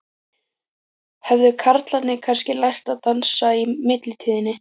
Höfðu karlarnir kannski lært að dansa í millitíðinni?